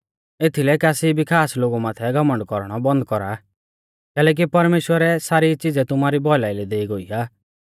एथीलै कासी भी खास लोगु माथै घमण्ड कौरणौ बन्द कौरा कैलैकि परमेश्‍वरै सारी च़िज़ै तुमारी भौलाई लै देई गोई आ